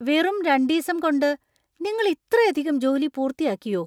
വെറും രണ്ടീസം കൊണ്ട് നിങ്ങൾ ഇത്രയധികം ജോലി പൂർത്തിയാക്കിയോ?